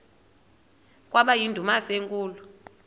kwaba yindumasi enkulu